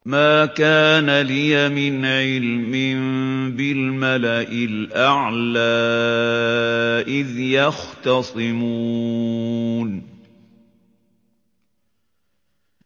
مَا كَانَ لِيَ مِنْ عِلْمٍ بِالْمَلَإِ الْأَعْلَىٰ إِذْ يَخْتَصِمُونَ